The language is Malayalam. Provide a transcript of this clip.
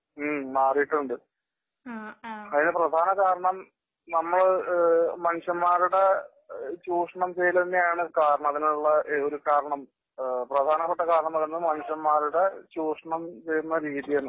ഹ്ം മാറിയിട്ടുണ്ട്. അതിന് പ്രധാന കാരണം നമ്മള് മനുഷ്യന്മാരുടെ ചൂഷണം ചെയ്യല് തന്നെയാണ് കാരണം. അതിനുള്ള ഒരു കാരണം പ്രധാനപ്പെട്ട കാരണം എന്ന് പറയുന്നത് മനുഷ്യന്മാരുടെ ചൂഷണം ചെയ്യുന്ന രീതിയാണ്.